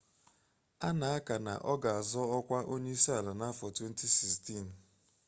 a na-aka na ọ ga-azọ ọkwa onye isi ala n'afọ 2016